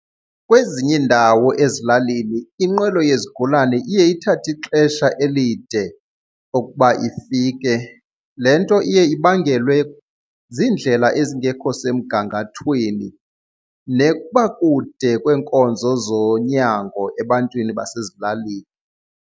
Kwezinye iindawo ezilalini inqwelo yezigulane iye ithathe ixesha elide okuba ifike. Le nto iye ibangelwe ziindlela ezingekho semgangathweni nokuba kude kweenkonzo zonyango ebantwini basezilalini.